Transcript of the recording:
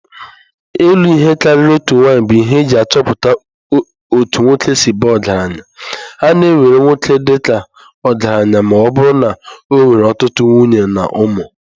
Ịlụ ihe karịrị otu nwanyị bụ ihe eji achọpụta otú nwoke si baa ọgaranya. A na-ewere nwoke dị ka ọgaranya ma ọ bụrụ na ọ nwere ọtụtụ nwunye na ụmụ.